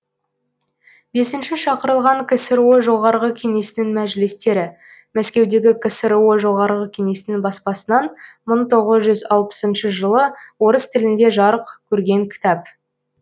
бесінші шақырылған ксро жоғарғы кеңесінің мәжілістері мәскеудегі ксро жоғарғы кеңесінің баспасынан мың тоғыз жүз алпысыншы жылы орыс тілінде жарық көрген кітап